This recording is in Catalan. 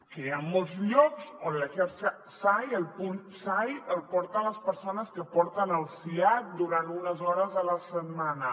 que hi han molts llocs on la xarxa sai el punt sai el porten les persones que porten el siad durant unes hores a la setmana